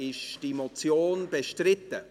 Ist die Motion bestritten?